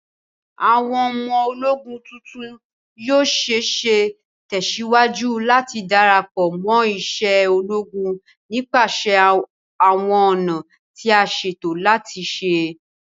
Awọn ọmọ-ologún tuntun yoo ṣee ṣe tẹsiwaju lati darapọ mo ise ologun nipasẹ awọn ọna ti a ṣeto silẹ